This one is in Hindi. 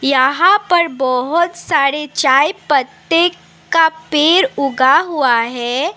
यहां पर बहोत सारे चाय पत्ते का पेड़ उगा हुआ है।